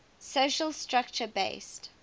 social structure based